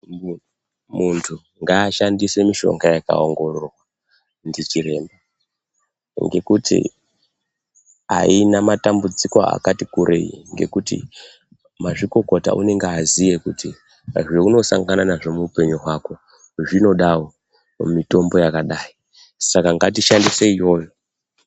Muntu ngashandise mishonga yakaongororwa ndichiremba. Ngekuti aina matambudziko akati kurei ngekuti mazvikokota unenge aziye kuti zvaunosangana nazvo muupenyu hwako zvidawo mitombo yakadai saka ngatishandise iyoyo.